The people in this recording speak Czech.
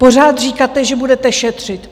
Pořád říkáte, že budete šetřit.